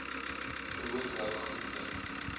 brood rou groente